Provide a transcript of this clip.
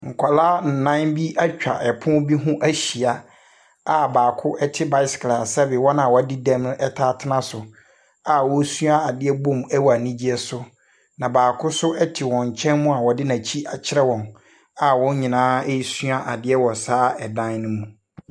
Nkɔla ɛnnan bi etwa ɛpono bi ho ahyia a baako ɛte baesekel a sɛbi wɔn a woadi dɛm no taa tena so, a wosua adeɛ bom ɛwɔ anigyeɛ so. Na baako so ɛte wɔn nkyɛn mu a ɔde n'akyi akyerɛ wɔn a wɔn nyinaa esua adeɛ wɔ saa ɛdan no mu.